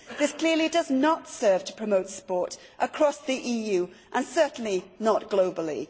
This clearly does not serve to promote sport across the EU and certainly not globally.